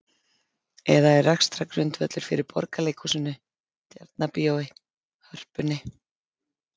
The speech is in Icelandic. Eða er rekstrargrundvöllur fyrir Borgarleikhúsinu, Tjarnarbíói, Hörpunni?